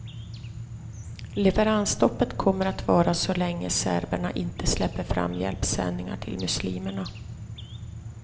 Leveransstoppet kommer att vara så länge serberna inte släpper fram hjälpsändningar till muslimerna.